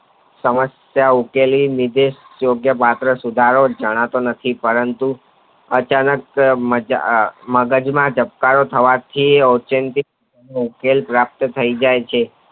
સમસ્યા ઉકેલી નીચે યોગ્ય ભદ્રો જાણતો નથી પરંતુ અચાનક મગજ માં ધબકારો થવાથી ઉકેલ પ્રાપ્ત થય જાય છે.